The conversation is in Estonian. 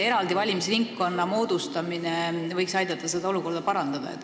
Eraldi valimisringkonna moodustamine võiks aidata seda olukorda parandada.